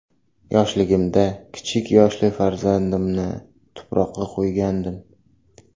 Yoshligimda kichik yoshli farzandimni tuproqqa qo‘ygandim.